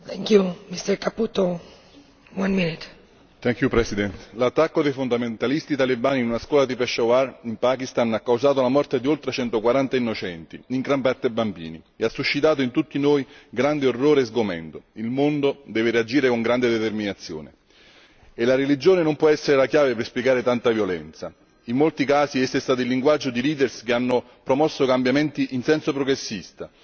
Signor Presidente, onorevoli colleghi, l'attacco dei fondamentalisti talebani in una scuola di Peshawar in Pakistan ha causato la morte di oltre 140 innocenti, in gran parte bambini, e ha suscitato in tutti noi grande orrore e sgomento. Il mondo deve reagire con grande determinazione e la religione non può essere la chiave per spiegare tanta violenza, in molti casi essa è stata il linguaggio di leader che hanno promosso cambiamenti in senso progressista,